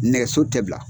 Nɛgɛso tɛ bila